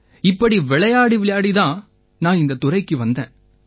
இப்படி விளையாடி விளையாடி தான் நான் இந்தத் துறைக்கு வந்தேன்